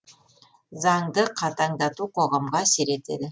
заңды қатаңдату қоғамға әсер етеді